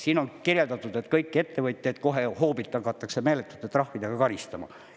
Siin on kirjeldatud, et kõiki ettevõtjaid kohe hoobilt hakatakse meeletute trahvidega karistama.